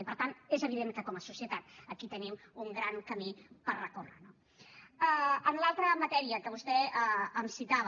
i per tant és evident que com a societat aquí tenim un gran camí per recórrer no en l’altra matèria que vostè em citava